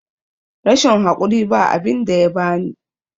rashin hakuri ba abinda yabani